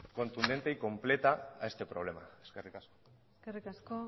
contundente y completa a este problema eskerrik asko eskerrik asko